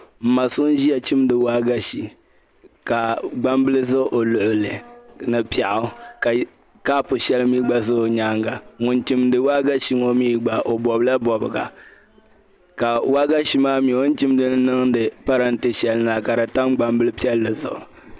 N ma so n ʒiya chimdi waagashe ka gbambili ʒɛ o luɣuli ni piɛɣu ka kaap shɛli mii gba ʒɛ o nyaanga ŋun chimdi waagashe ŋo mii gba o bobla bobga ka waagashe maa mii o ni chimdili niŋdi parantɛ shɛli ni maa ka di tam gbambili piɛlli zuɣu